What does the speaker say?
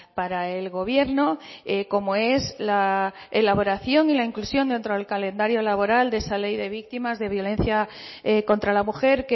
para el gobierno como es la elaboración y la inclusión dentro del calendario laboral de esa ley de víctimas de violencia contra la mujer